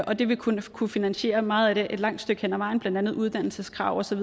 og det vil kunne kunne finansiere meget af det et langt stykke hen ad vejen blandt andet uddannelseskrav